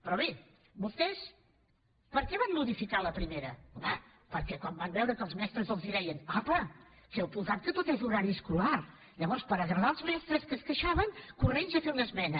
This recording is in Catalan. però bé vostès per què van modificar la primera home perquè quan van veure que els mestres els deien apa que heu posat que tot és horari escolar llavors per agradar els mestres que es queixaven corrent a fer una esmena